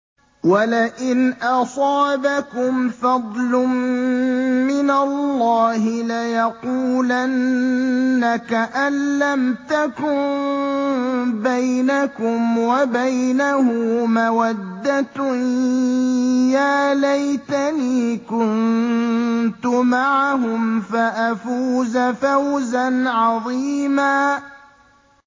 وَلَئِنْ أَصَابَكُمْ فَضْلٌ مِّنَ اللَّهِ لَيَقُولَنَّ كَأَن لَّمْ تَكُن بَيْنَكُمْ وَبَيْنَهُ مَوَدَّةٌ يَا لَيْتَنِي كُنتُ مَعَهُمْ فَأَفُوزَ فَوْزًا عَظِيمًا